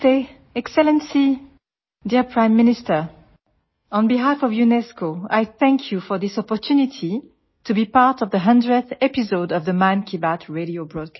नमस्ते excellency dear prime minister on बेहल्फ of UNESCO I thank you for this opportunity to be part of the 100th episode of the Mann Ki Baat radio broadcast